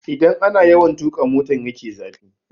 Idan ana yawan tuƙa motan ya ke zafi